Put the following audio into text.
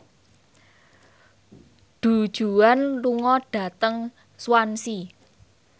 Du Juan lunga dhateng Swansea